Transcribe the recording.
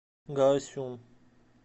гаосюн